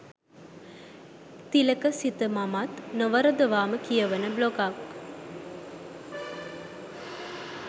තිලක සිත මමත් නොවරදවාම කියවන බ්ලොගක්